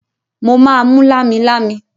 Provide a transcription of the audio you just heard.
Mo máa mú lámilámi.